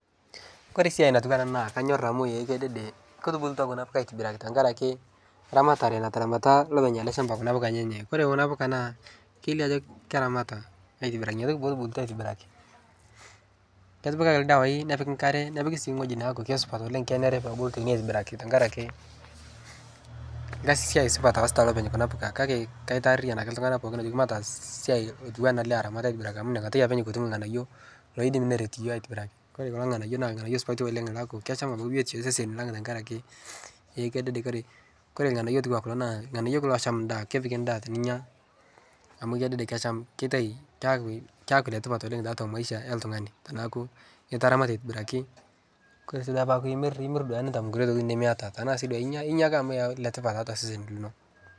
kore siai natuwaa ana naa kanyor amu ee kedede kotubulua kuna puka tankarake ramatare nataramata lopeny kuna puka enyenyee kore kuna puka naa keilio ajo keramata aitibiraki inia toki potubulutua aitibiraki ketipikaki ldawai nepiki nkare nepiki sii nghoji naaku keisupat oleng kenere pebulu teinie aitibiraki tankarake lkazi supat loasita lopeny kuna puka kaitaariyan ake ltungana pookin ajoki mataas siai otuwana ale aramat aitibiraki amu iniakatai apeny kutum lghanayo loidim neret yooh aitibiraki kore kulo nghanayo naa lghanayo supatii oleng laaku kesham abaki biotisho ee seseni lang tankarakee ee kedede kore lghanayo otuwaa kulo naa lghanayo esham ndaa kepik ndaa tininyaa amu kedede kesham keitai keaku letipat oleng taatua maisha eltungani tanaaku itaramata aitibiraki kore sii peaku imir, imir nintam nkulie tokiti nimiata tanaa sii duake inya, inya ake letipat taatua sesen linoo